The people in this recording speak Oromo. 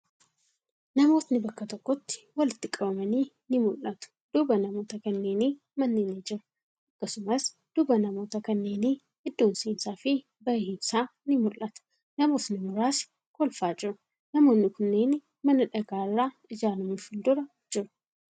Namootni bakka tokkotti walitti qabamanii ni mul'atu. Duuba namoota kanneenii manni ni jira. Akkasumas, duuba namoota kanneenii iddoon seensa fi bahiinsaa ni mul'ata. Namootni muraasni kolfaa jiru. Namoonni kunneeni mana dhagaa irraa ijaarame fuuldura jiru.